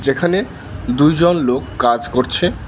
এখানে দুজন লোক কাজ করছে।